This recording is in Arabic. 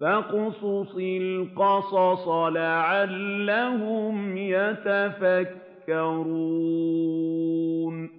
فَاقْصُصِ الْقَصَصَ لَعَلَّهُمْ يَتَفَكَّرُونَ